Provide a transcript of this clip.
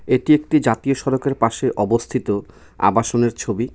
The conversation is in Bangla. এটি একটি জাতীয় সড়কের পাশে অবস্থিত আবাসনের ছবি.